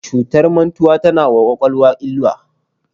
Cutar mantuwa tana wa kwakwalwa illa.